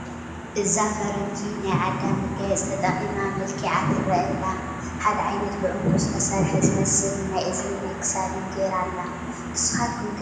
እዛ ፈረንጂ ናይ ዓዳ መጋየፂ ተጠቒማ መልኪዓ ትርአ ኣላ፡፡ ሓደ ዓይነት ብዕንቁ ዝተሰርሐ ዝመስል ናይ እዝኒን ናይ ክሳድን ገይራ ኣላ፡፡ ንስኻትኩም ከ ብዛዕባ መጋየፂ ትፈልጥዎ ኣለኩም ዶ?